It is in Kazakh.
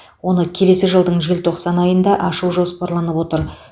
оны келесі жылдың желтоқсан айында ашу жоспарланып отыр